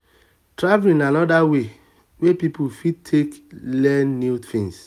travelling na anoda way wey person fit take learn new things